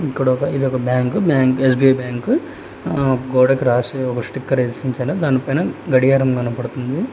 ఇక్కడ ఒక ఇది ఒక బ్యాంకు బ్యాంక్ ఎ_స్బి_ఐ బ్యాంకు గోడకు రాసిన ఒక స్టిక్కర్స్ దానివైనా గడియారం కనబడుతుంది.